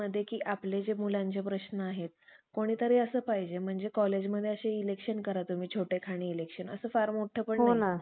पेंसा पेंसासारख्या, मोठमोठ्या विध्वनांच्या पूर्वजांनी या बळीराजाचे अंकित होऊन. आपल्या मागच्या सर्व इडापिडा दूर करून